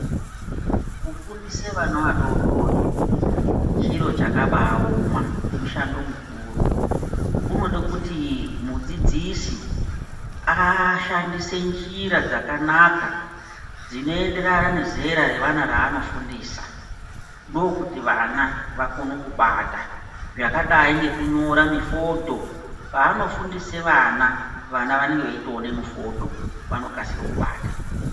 Kufundise vana adodori chiro chakabaoma mushando mukuru. Unoda kuti mudzidzisi ashandise njira dzakanaka dzinoenderana nezera revana anofundisa. Ndokuti vana vakone kubata zvakadai ngekunyora mufodho paanofundise ana, ana anenge eitoona mufodho vanokasire kubata.